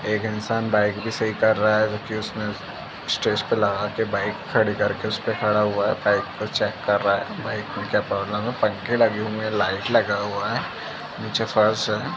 एक इंसान बाइक भी सही कर रहा है जोकि उसमें स्टेज पे लगा के बाइक खड़ी करके उसपे खड़ा हुआ हैं। बाइक को चेक कर रहा हैं बाइक में क्या प्रॉब्लम है। पंखे लगे हुए हैं। लाइट लगा हुआ हैं। नीचे फर्श हैं।